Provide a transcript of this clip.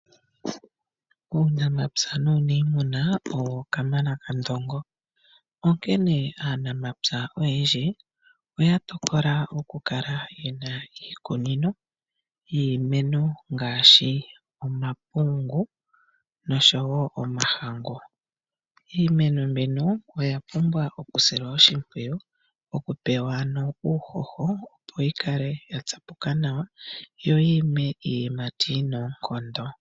Uunamapya nuuniimuna owo kamana kandongo. Onkene aanamapya oyendji oya tokola okukala yena iikunino yiimeno ngaashi omapungu nosho wo omahangu. Iimeno mbino oya pumbwa okusilwa oshimpwiyu, okupewa ano uuhoho opo yi kale ya tsapuka nawa yo yi ime iiyimati yina oonkondo.